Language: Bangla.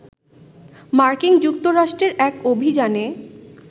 মার্কিন যুক্তরাষ্ট্রের এক অভিযানে